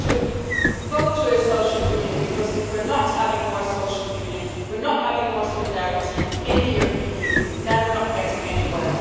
We need to get to a social union because if we're not having more social union, if we're not having more solidarity in the European Union, then we're not getting anywhere.